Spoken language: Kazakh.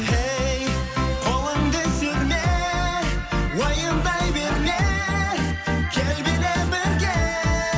ей қолыңды серме уайымдай берме кел биле бірге